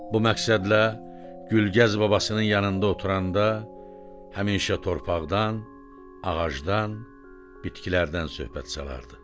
Bu məqsədlə Gülgəz babasının yanında oturanda həmişə torpaqdan, ağacdan, bitkilərdən söhbət salardı.